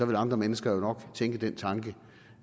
vil andre mennesker nok tænke den tanke